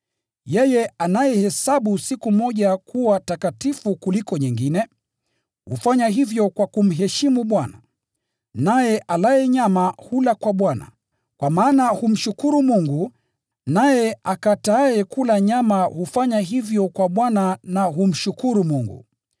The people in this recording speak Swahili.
Yeye anayehesabu siku moja kuwa takatifu kuliko nyingine, hufanya hivyo kwa kumheshimu Bwana. Naye alaye nyama hula kwa Bwana, kwa maana humshukuru Mungu, naye akataaye kula nyama hufanya hivyo kwa Bwana na humshukuru Mungu.